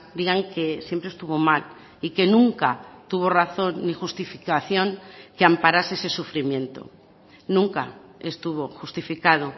digan que siempre estuvo mal y que nunca tuvo razón ni justificación que amparase ese sufrimiento nunca estuvo justificado